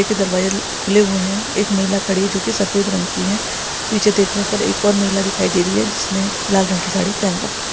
दरवाजे खुले हुए हैं एक महिला खड़ी है जो की सफ़ेद रंग की है पीछे देखने पर एक और महिला दिखाई दे रही है जिसने लाल रंग की साड़ी पहन रखी है।